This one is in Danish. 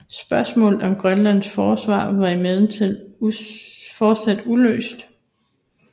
Spørgsmålet om Grønlands forsvar var imidlertid fortsat uløst